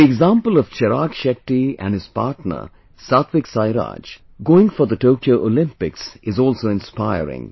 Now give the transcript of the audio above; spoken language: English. The example of Chirag Shetty and his partner SatwikSairaj going for the Tokyo Olympics is also inspiring